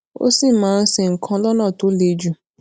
ó sì máa ń ṣe nǹkan lónà tó le jù